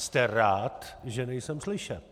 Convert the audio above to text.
Jste rád, že nejsem slyšet.